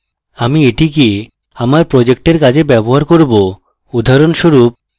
আমি এটিকে আমার project কাজে ব্যবহার করব উদাহরণস্বরূপ